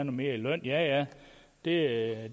mere i løn ja ja det